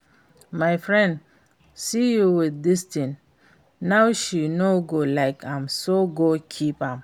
If my friend see you with dis thing now she no go like am so go keep am